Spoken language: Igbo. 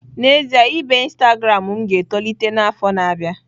N'ezie, ibe Instagram m ga-etolite n'afọ na-abịa.